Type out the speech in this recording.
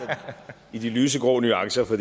i de lysegrå nuancer for